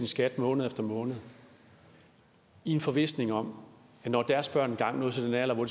skat måned efter måned i en forvisning om at når deres børn engang nåede til den alder hvor